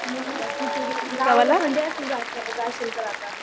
अच्छा गावाकडे थंडी असेल जाशील तर आता.